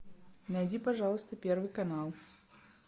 найди пожалуйста первый канал